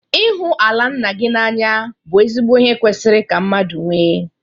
Ịhụ ala nna gị na-anya bụ ezigbo ihe kwesịrị ka mmadụ nwee.